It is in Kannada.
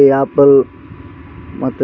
ಮತ್ತೆ ಕೆಲವೊಂದು ಐಟಂಸ್‌ ಇದಾವ.